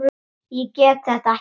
Ég get þetta ekki.